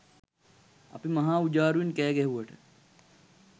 අපි මහා උජාරුවෙන් කෑ ගැහුවට